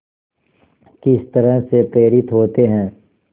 किस तरह से प्रेरित होते हैं